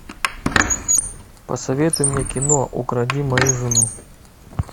посоветуй мне кино укради мою жену